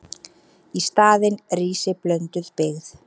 Í staðinn rísi blönduð byggð.